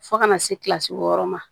Fo kana se kilasi wɔɔrɔ ma